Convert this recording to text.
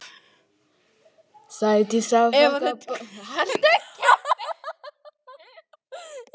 Sædís afþakkar bolluna, segist ekki drekka áfengi frekar en Árný.